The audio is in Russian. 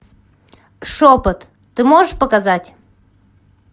шепот ты можешь показать